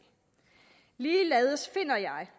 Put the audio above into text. ligeledes finder jeg